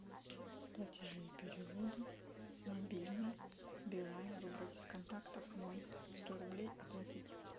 платежи и переводы мобильный билайн выбрать из контактов мой сто рублей оплатить